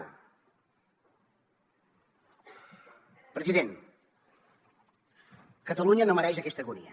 president catalunya no mereix aquesta agonia